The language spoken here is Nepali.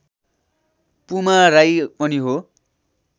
पुमा राई पनि हो